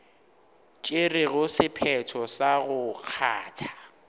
tšerego sephetho sa go kgatha